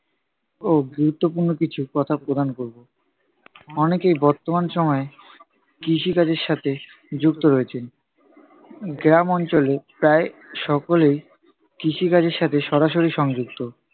ও গুরুত্বপূর্ণ কিছু কথা প্রদান করবো। অনেকেই বর্তমান সময়ে কৃষিকাজের সাথে যুক্ত রয়েছেন। গ্রাম অঞ্চলে প্রায় সকলেই কৃষিকাজের সাথে সরাসরি সংযুক্ত।